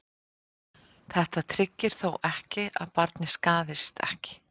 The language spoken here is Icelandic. Þetta tryggir þó ekki að barnið skaðist ekki.